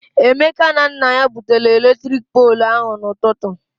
Emeka na nna ya butere eletrik poolụ ahụ na-ụtụtụ.